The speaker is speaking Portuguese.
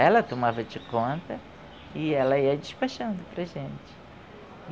Ela tomava de conta e ela ia despachando para a gente.